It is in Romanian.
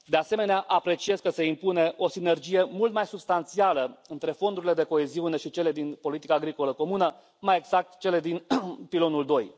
De asemenea, apreciez că se impune o sinergie mult mai substanțială între fondurile de coeziune și cele din politica agricolă comună, mai exact cele din Pilonul II.